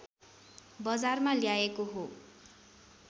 बजारमा ल्याएको हो